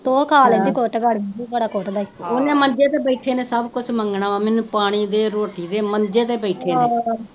ਤੇ ਉਹ ਖਾ ਲੈਂਦੀ ਕੁੱਟ ਬੜਾ ਕੁੱਟ ਦਾ ਈ ਓਹਨੇ ਮੰਜੇ ਤੇ ਬੈਠੇ ਨੇ ਸਬ ਕੁਜ ਮੰਗਣਾ ਵਾ ਮੈਨੂੰ ਪਾਣੀ ਦੇ ਰੋਟੀ ਦੇ ਮੰਜੇ ਤੇ ਬੈਠੇ ਨੇ